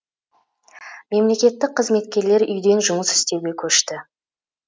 мемлекеттік қызметкерлер үйден жұмыс істеуге көшті